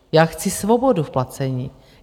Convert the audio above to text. Já chci svobodu v placení.